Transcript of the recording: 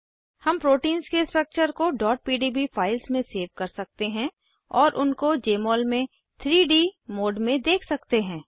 हम प्रोटीन्स के स्ट्रक्चर्स को pdb फाइल्स में सेव कर सकते हैं और उनको जमोल में 3डी मोड में देख सकते हैं